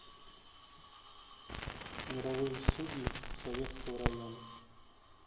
мировые судьи советского района